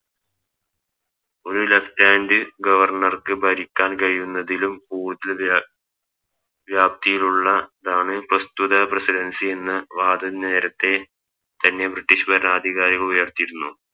ഒരു Left hand governor ക്ക് ഭരിക്കാൻ കഴിയുന്നതിലും ഊർജിത വ്യാപ്തിയിലുള്ള താണ് പ്രസ്തുത Residency എന്ന് വാദം നേരത്തെ തന്നെ ബ്രിട്ടീഷ് ഭരണാധികാരികൾ ഉയർത്തിയിരുന്നു